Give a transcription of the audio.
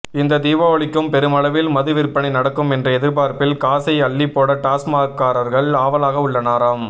இந்த தீபாவளிக்கும் பெருமளவில் மது விற்பனை நடக்கும் என்ற எதிர்பார்ப்பில் காசை அள்ளிப் போட டாஸ்மாக்காரர்கள் ஆவலாக உள்ளனராம்